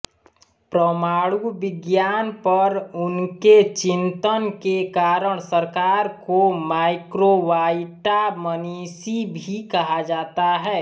परमाणु विज्ञान पर उनके चिंतन के कारण सरकार को माइक्रोवाइटा मनीषी भी कहा जाता है